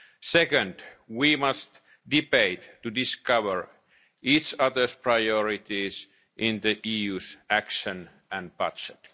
Secondly, we must debate to discover each other's priorities in relation to the EU's action and budget.